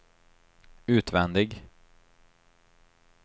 utvändig